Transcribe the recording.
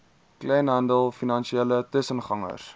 kleinhandel finansiële tussengangers